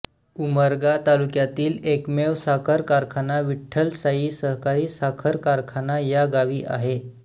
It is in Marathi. उमरगा तालुक्यातील एकमेव साखर कारखाना विठ्ठल साई सहकारी साखर कारखाना या गावी आहे